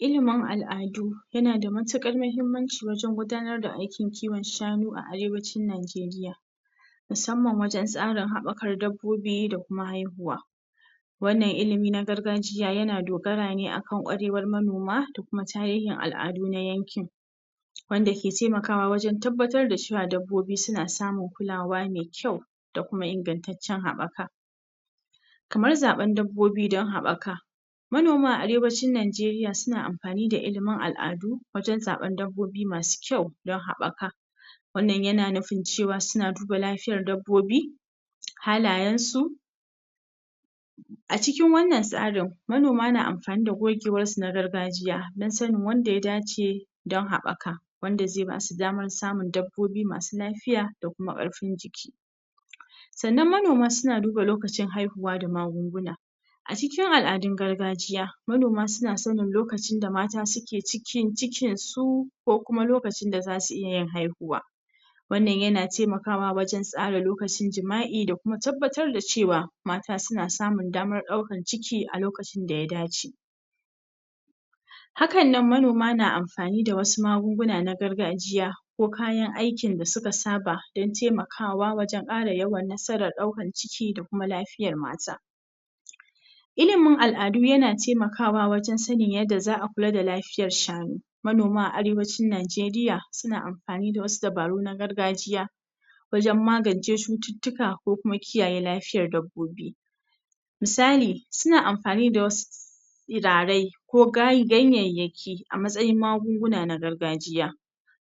Ilimin al'adu yana da matukar mahimmaci wajen gudanar da aykin kiwon shanu a arewacin Nigeria, musamman wajen tsarin habakar dabbobi da kuma haihuwa, wannan ilimi na gargajiya yana dogara ne akan kwarewar manoma da kuma tarihin al'adu na yankin, wanda ke taimakawa wajen tabbatar da cewa dabbobi suna samun kulawa mai kyau da kuma ingantaccen habaka, kamar zaban dabbobi dan habakamanoma a arewacin Nigeria suna amfani da ilimin al'adu wajen zaben dabbobi masu kyau dan habaka, manoma a arewacin Nigeria suna amfani da ilimin al'adu wajen zaben dabbobi masu kyau dan habaka, wannan yana nufin cewa suna duba lafiyar dabbobi, halayen su, a cikin wannan tsarin manoma na amfani da gogewar su na gargajiya dan sanin wanda ya dace dan habaka wanda zai basu damar samun dabbobi masu lafiya da kuma karfin jiki, sannan manoma suna duba lokacin haihuwa da magunguna a cikin al'adun gargajiya, manoma suna sanin lokacin da mata suke cikin cikin su ko kuma lokacin da zasu iya yin haihuwa, wannan yana taimakawa wajen tsara lokacin jima'i da kuma tabbatar da cewa mata suna samun damar daukan ciki a lokacin da ya dace, hakan nan manoma na amfanin da wasu maguna na gargajiya ko kayan aikin da suka saba dan taimakawa wajen kara yawan nasarar daukan ciki da kuma lafiyar mata, ilimin al'adu yana taimakawa wajen sanin yadda za'a kula da lafiyar shanu, manoma a arewacin Nigeria suna amfani da wasu dabaru na gargajiya wajen magance cututtuka ko kuma wajen kiyaye lafiyar dabbobi, misali suna amfani da wasu turarai ko ganyayyaki a matsayin magunguna na gargajiya,,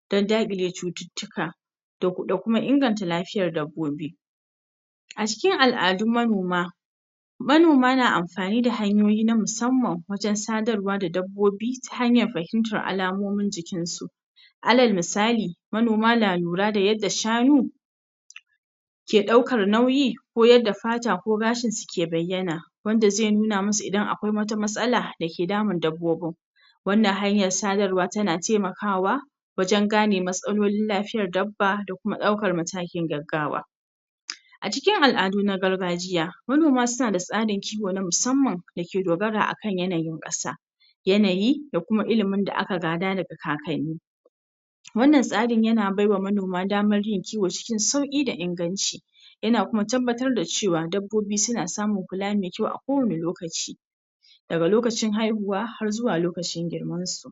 dan dakile cututtuka da kuma inganta lafiyar dabbobi, a cikin al'adun manoma, manoma na amfani da hanyoyi na musamman wajen sadarwa da dabbobi ta hanyar fahimtar alamomin jikin su, alal misali, manoma na lura da yadda shanu ke daukar nauyi, ko yadda fata ko gashin su ke bayyana, wanda zai nuna musu idan akwai wata matsala me ke damun dabbobin, wannan hanyar sadarwa tana taimakawa wajen gane matsalar dabba da kuma daukar matakin gaggawa, a cikin al'adu na gargajiya, manoma suna da tsarin kiwo na musamman da ke dogara akan yanayin kasa, yanayi da kuma ilimin da aka gada daga kakanni, wannan tsari yana bai wa manoma damar yin kiwo cikin sauki da inganci, yana kuma tabbatar da cewa dabbobi suna samun kula mai kyau a kowanne lokaci, daga lokacin haihuwa har zuwa lokacin girman su.